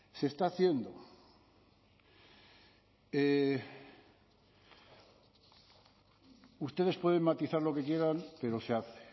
se está haciendo ustedes pueden matizar lo que quieran pero se hace